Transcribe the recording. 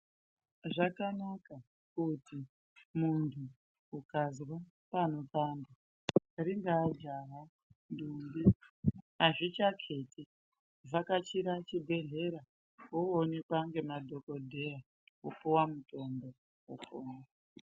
Zvakanaka kuti muntu ukanzwa panopanda ringav jaha ndombi azvichaketi kuvhakachira zvinoonekwa nemadhokodheya vopuwa mutombo vopora.